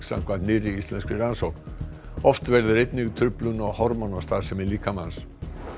samkvæmt nýrri íslenskri rannsókn oft verður einnig truflun á hormónastarfsemi líkamans